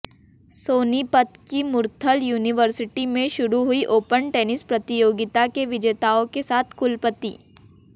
सोनीपत की मुरथल यूनिवर्सिटी में शुरू हुई ओपन टेनिस प्रतियोगिता के विजेताओं के साथ कुलपति